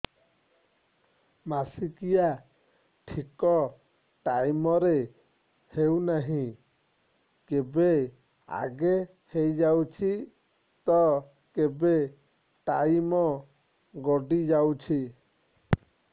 ମାସିକିଆ ଠିକ ଟାଇମ ରେ ହେଉନାହଁ କେବେ ଆଗେ ହେଇଯାଉଛି ତ କେବେ ଟାଇମ ଗଡି ଯାଉଛି